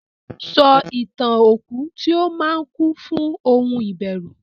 sọ Ìtàn okú tí ó máa kún fún ohun ìbẹ̀rùn.